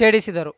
ಛೇಡಿಸಿದರು